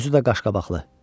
Özü də qaşqabaqlı.